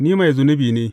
Ni mai zunubi ne!